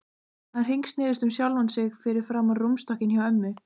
Hann hringsnerist um sjálfan sig fyrir framan rúmstokkinn hjá ömmu.